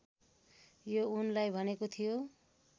यो उनलाई भनेको थियो